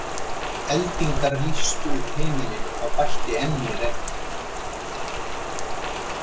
Eldingar lýstu upp himininn og það bætti enn í regnið.